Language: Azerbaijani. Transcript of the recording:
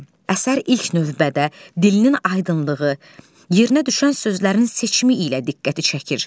Əsər ilk növbədə dilinin aydınlığı, yerinə düşən sözlərin seçimi ilə diqqəti çəkir.